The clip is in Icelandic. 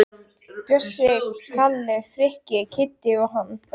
Bjössi, Kalli, Frikki, Kiddi og hann.